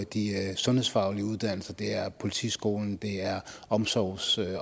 de sundhedsfaglige uddannelser det er politiskolen og det er omsorgs